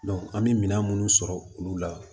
an bɛ minɛn minnu sɔrɔ olu la